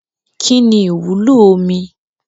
Kínní ìwúlò omi?